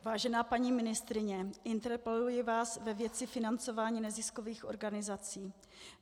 Vážená paní ministryně, interpeluji vás ve věci financování neziskových organizací.